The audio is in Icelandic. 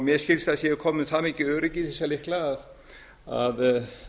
mér skilst að það sé komið það mikið öryggi í þessa lykla að